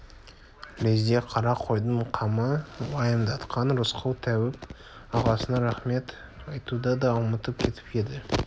лезде қара қойдың қамы уайымдатқан рысқұл тәуіп ағасына рақмет айтуды да ұмытып кетіп еді